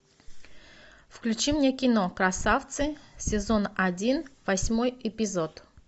включи мне кино красавцы сезон один восьмой эпизод